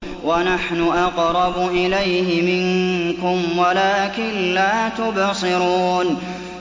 وَنَحْنُ أَقْرَبُ إِلَيْهِ مِنكُمْ وَلَٰكِن لَّا تُبْصِرُونَ